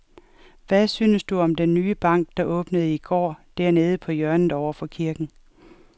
Hvad synes du om den nye bank, der åbnede i går dernede på hjørnet over for kirken?